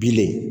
Bilen